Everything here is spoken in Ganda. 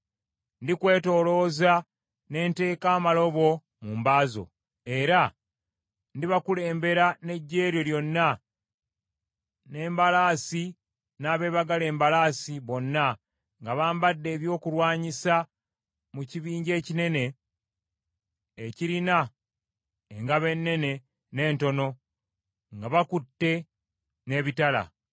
Ndikwetoolooza, ne nteeka amalobo mu mba zo, era ndibakulembera n’eggye lyo lyonna, n’embalaasi n’abeebagala embalaasi, bonna nga bambadde ebyokulwanyisa mu kibinja ekinene ekirina engabo ennene n’entono, nga bakutte n’ebitala.